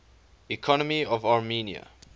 economy of armenia